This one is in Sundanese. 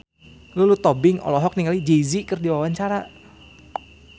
Lulu Tobing olohok ningali Jay Z keur diwawancara